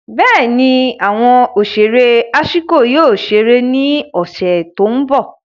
Bẹẹni, awọn oṣere Ashiko yoo ṣere ni ọsẹ ti n bọ.